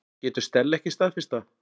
Getur Stella ekki staðfest það?